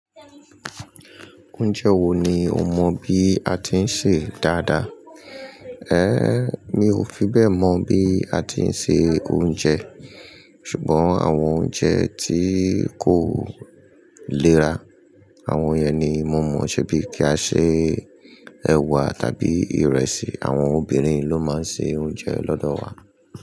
Oúnjẹ wo ni o mọ bí a ti ń sè dáadáa? Ehn, mi ò fi bẹ́ẹ̀ mọ̀ bí a ti ń ṣe oúnjẹ. Ṣùgbọ́n àwọn oúnjẹ tí kò léra, àwọn iye ni mo mọ̀, ṣe bí kí á ṣe ẹwà tàbí ìrẹsì. Àwọn obìnrin ló máa ń ṣe oúnjẹ lọ́dọ̀ wa.